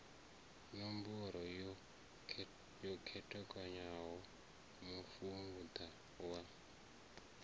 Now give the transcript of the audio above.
ṋombaro yo khetheaho mufuda wa